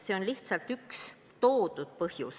See on lihtsalt üks toodud põhjus.